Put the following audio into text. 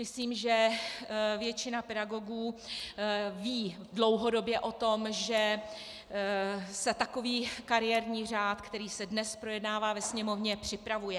Myslím, že většina pedagogů ví dlouhodobě o tom, že se takový kariérní řád, který se dnes projednává ve Sněmovně, připravuje.